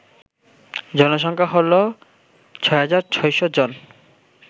জনসংখ্যা হল ৬৬০০ জন